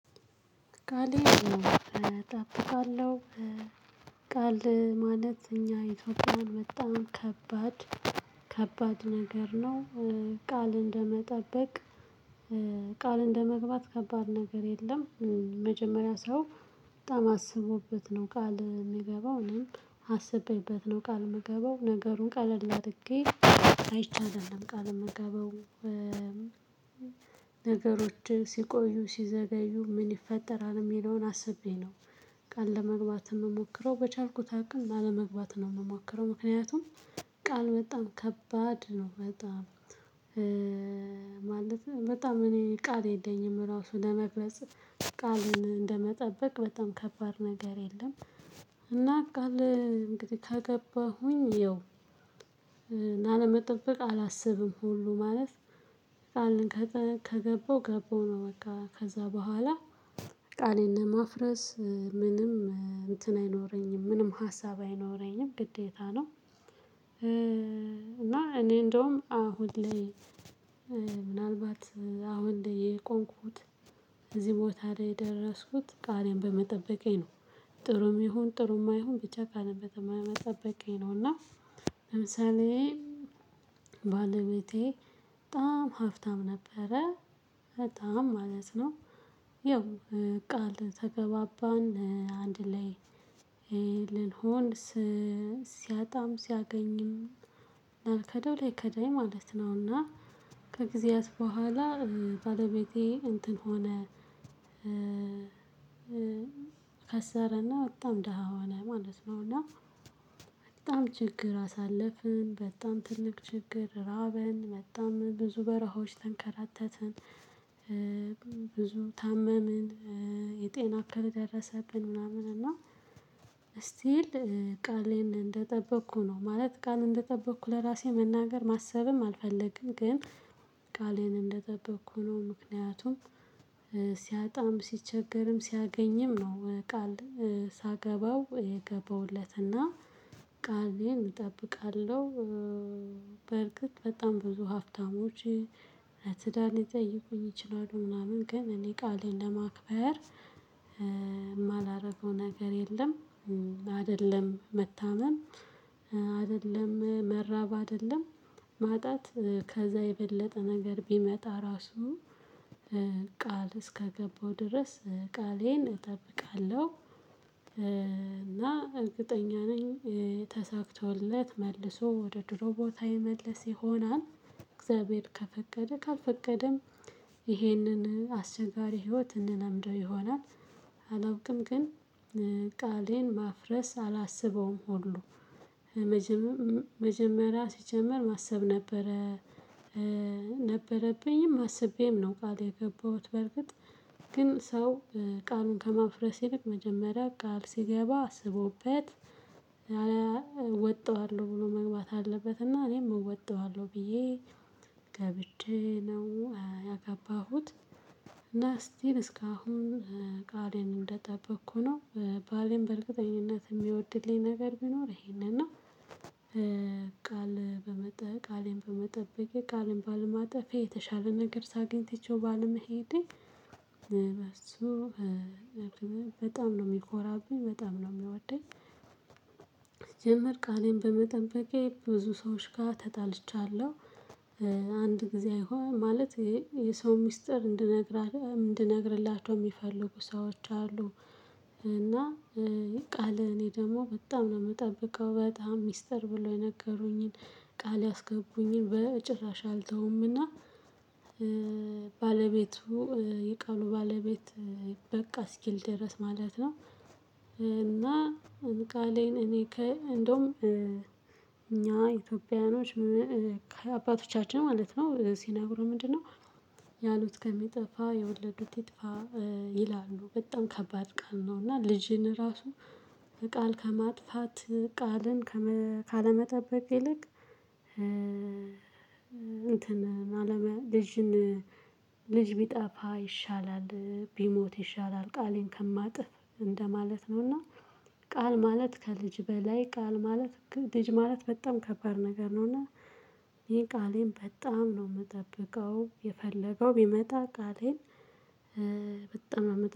ቃል እጠብቃለሁ ቃል ማለት እኛ ኢትዮጵያን በጣም ከባድ ከባድ ነገር ነው። ቃል ቃል እንደመጠበቅ ቃል እንደመግባት ከባድ ነገር የለም። መጀመሪያ ሰው በጣም አስቦበት ነው ቃል የምገባው እኔም አስቤበት ነው ቃል የምገባው ነገሩን ቀለል አድርጌ አይቼ አይደለም ቃል የምገባው። ነገሮች ሲቆዩ ሲዘገዩ ምን ይፈጠራል የሚለውን አስቤ ነው። ቃል ለመግባት የምሞክረው በቻልኩት አቅም ላለመግባት ነው የምሞክረው ምክንያቱም። ቃል በጣም ከባድ ነው በጣም ማለት በጣም እኔ ቃል የለኝም ራሱ ለመግለጽ ቃልን እንደመጠበቅ በጣም ከባድ ነገር የለም። ቃል እንግዲህ ከገባሁኝ ያው እና ለመጠበቅ አላስብም ሁሉ ማለት ቃልን ከገባው ገባው ነው በቃ ከዛ በኋላ ቃሌን ለማፍረስ ምንም እንትን አይኖረኝም ምንም ሀሳብ አይኖረኝም ግዴታ ነው። እና እኔ እንደውም አሁን ላይ ምናልባት አሁን የቆምኩት እዚህ ቦታ ላይ የደረስኩት ቃሌን በመጠበቄ ነው። ጥሩም ይሁን ጥሩም አይሁን ብቻ ቃሌን በመጠበቄ ነው እና። ለምሳሌ ባለቤቴ በጣም ሀብታም ነበረ። በጣም ማለት ነው ያው ቃል ተገባባን አንድ ላይ ልንሆን ሲያጣም ሲያገኝም ላልከደው ላይከዳኝ ማለት ነውና። ከጊዜያት በኋላ ባለቤቴ እንትን ሆነ። ከሰረና በጣም ደሃ ሆነ ማለት ነው እና በጣም ችግር አሳለፍን በጣም ትልቅ ችግር ራበን በጣም ብዙ በረሃዎች ተንከራተተን። ብዙ ታመምን የጤና እክል ደረሰብን ምናምን እና ስቲል ቃሌን እንደጠበቅኩ ነው። ማለት ቃል እንደጠበቅኩ ለራሴ መናገር ማሰብም አልፈለግም ግን ቃሌን እንደጠበቅኩ ነው ምክንያቱም። ሲያጣም ሲቸገርም ሲያገኝም ነው ቃል ሳገባው የገባሁለትና ቃሌን እጠብቃለሁ። በእርግጥ በጣም ብዙ ሀፍታሞች ትዳር ሊጠይቁኝ ይችላሉ ምናምን ግን እኔ ቃሌን ለማክበር የማላደርገው ነገር የለም። አይደለም መታመም አይደለም መራብ አይደለም ማጣት ከዛ የበለጠ ነገር ቢመጣ ራሱ ቃል እስከገባው ድረስ ቃሌን እጠብቃለሁ። እና እርግጠኛ ነኝ ተሳክቶለት መልሶ ወደ ድሮ ቦታ ይመለስ ይሆናል። እግዚአብሔር ከፈቀደ ካልፈቀደም ይሄንን አስቸጋሪ ህይወት እንለምደው ይሆናል። አላውቅም ግን ቃሌን ማፍረስ አላስበውም ሁሉ መጀመሪያ ሲጀመር ማሰብ ነበረ። ነበረብኝም አስቤም ነው ቃል የገባሁት በርግጥ ግን ሰው ቃሉን ከማፍረስ ይልቅ መጀመሪያ ቃል ሲገባ አስቦበት። እወጣዋለሁ ብሎ መግባት አለበት እና እኔም እወጣዋለሁ ብዬ ገብቼ ነው ያገባሁት። እና እስቲል እስካሁን ቃሌን እንደጠበቅኩ ነው። ባሌን በእርግጠኝነት የሚወድልኝ ነገር ቢኖር ይሄንን ነው። ቃል በመጠበቅ ቃሌን በመጠበቅ ቃሌን ባለማጠፌ የተሻለ ነገር ሳገኝ ትቼው ባለመሄዴ በጣም ነው የሚኮራብኝ በጣም ነው የሚወደኝ። ሲጀመር ቃሌን በመጠበቄ ብዙ ሰዎች ጋር ተጣልቻለሁ። አንድ ጊዜ አይሆንም ማለት ይሄ የሰው ሚስጥር እንድነግር እንድነግርላቸው የሚፈልጉ ሰዎች አሉ። እና ቃል እኔ ደግሞ በጣም ነው የምጠብቀው በጣም ሚስጥር ብሎ የነገሩኝን ቃል ያስገቡኝን በጭራሽ አልተውምና። ባለቤቱ የቃሉ ባለቤት በቃ እስኪል ድረስ ማለት ነው። እና እኔ ቃሌን እኔ እንደውም እኛ ኢትዮጵያውያኖች ከአባቶቻችን ማለት ነው ሲነግሩ ምንድነው? ያሉት ከሚጠፋ የወለዱት ይጥፋ ይላሉ በጣም ከባድ ቃል ነው። እና ልጅን ራሱ ቃል ከማጥፋት ቃልን ካለመጠበቅ ይልቅ እንትን ልጅን ልጅ ቢጠፋ ይሻላል ቢሞት ይሻላል ቃሌን ከማጥፍ እንደማለት ነውና። ቃል ማለት ከልጅ በላይ ቃል ማለት ልጅ ማለት በጣም ከባድ ነገር ነውና። ይሄን ቃሌን በጣም ነው የምጠብቀው የፈለገው ቢመጣ ቃሌን በጣም ነው